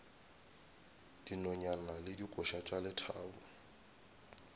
dinonyane le dikoša tša lethabo